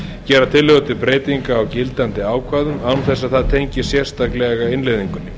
gera tillögur til breytinga á gildandi ákvæðum án þess að það tengist sérstaklega innleiðingunni